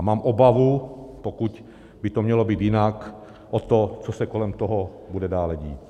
A mám obavu, pokud by to mělo být jinak, o to, co se kolem toho bude dále dít.